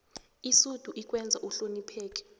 isudu ikwenza uhlonopheke